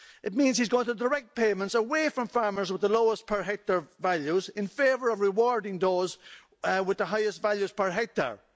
It means that he's going to direct payments away from farmers with the lowest per hectare values in favour of rewarding those with the highest values per hectare.